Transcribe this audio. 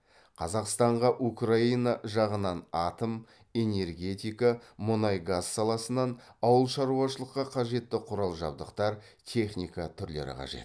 қазақстанға украина жағынан атом энергетика мұнай газ саласынан ауыл шаруашылыққа қажетті құрал жабдықтар техника түрлері қажет